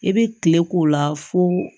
I bɛ kile k'o la fo